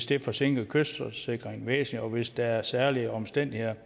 det forsinker kystsikringen væsentligt og hvis der er særlige omstændigheder